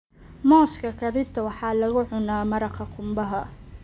Muuska karinta waxaa lagu cunaa maraqa qumbaha.